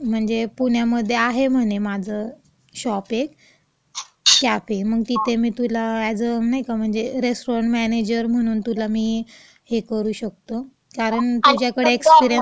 म्हणजे मंग पुण्यामध्ये आहे म्हणे माझं शॉप एक -कॅफे.मग तिथे मी तुला अॅज अ रेस्टॉरंट मॅनेजर म्हणून तुला मी ही करू शकतो.कारण तुझ्याकडं एक्सपेरियन्स आहे ना..